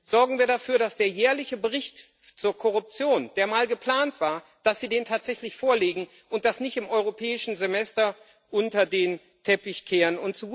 Sorgen wir dafür, dass Sie den jährlichen Bericht zur Korruption, der mal geplant war, tatsächlich vorlegen und das nicht im Europäischen Semester unter den Teppich kehren.